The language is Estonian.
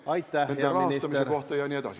Aitäh, hea minister!